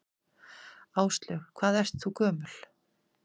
Áslaug: Hvað ert þú gömul?